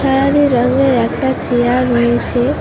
খয়রি রঙের একটা চেয়ার রয়েছে।